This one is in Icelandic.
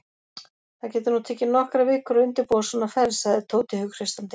Það getur nú tekið nokkrar vikur að undirbúa svona ferð sagði Tóti hughreystandi.